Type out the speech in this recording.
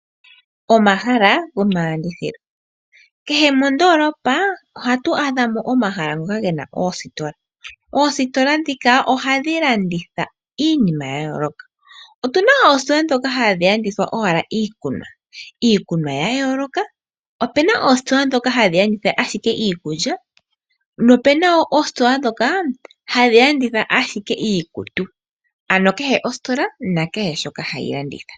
Omahala gomalandithilo Kehe mondoolopa ohatu adha mo omahala ngoka ge na oositola. Oositola ndhika ohadhi landitha iinima ya yooloka. Otu na oositola ndhoka hadhi landitha owala iikunwa. Iikunwa ya yooloka. Opu na oositola ndhoka hadhi landitha owala iikulya nopu na oositola ndhoka hadhi landitha ashike iikutu, ano kehe ositola nakehe shoka hayi landitha.